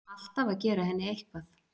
Alltaf að gera henni eitthvað.